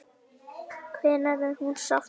Hennar er nú sárt saknað.